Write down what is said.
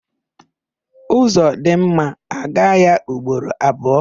Ụzọ dị mma, a gaa ya ugboro abụọ.